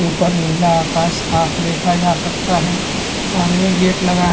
ऊपर निला आकाश साफ देखा जा सकता है सामने एक गेट लगा हैं।